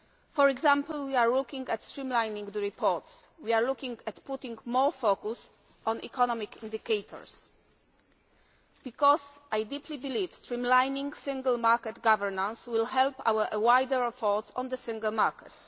For example, we are looking at streamlining the reports. We are looking at putting more focus on economic indicators because I deeply believe streamlining Single Market governance will help our wider efforts on the Single Market.